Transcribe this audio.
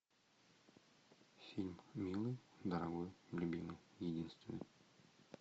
фильм милый дорогой любимый единственный